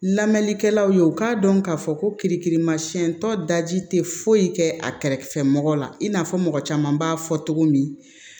Lamɛnnikɛlaw ye u k'a dɔn k'a fɔ ko kirikirimasiɲɛ tɔ daji tɛ foyi kɛ a kɛrɛfɛmɔgɔ la in n'a fɔ mɔgɔ caman b'a fɔ cogo min